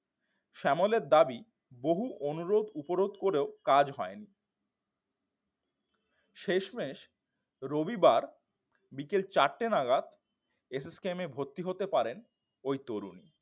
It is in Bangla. শ্যামলের দাবি বহু অনুরোধ উপরোধ করেও কাজ হয়নি শেষমেষ রবিবার বিকেল চারটে নাগাদ এস এস কেমে ভর্তি হতে পারে ওই তরুণী